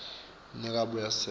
nika abuye esekele